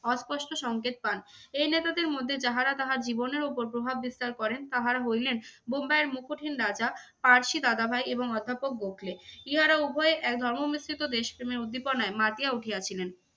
অস্পষ্ট সংকেত পান। এই নেতাদের মধ্যে যাহারা তাহার জীবনের ওপর প্রভাব বিস্তার করেন তাহারা হইলেন বোম্বাইয়ের মুকুটহীন রাজা পারসি দাদাভাই এবং অধ্যাপক গোখলে। ইহারা উভয়ে এক ধর্ম মিশ্রিত দেশপ্রেমের উদ্দীপনায় মাতিয়া উঠিয়াছিলেন।